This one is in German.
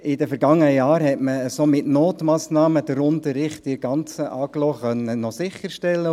In den vergangenen Jahren konnte man der ganzen Agglomeration den Notunterricht noch an den Mittelschulen sicherstellen.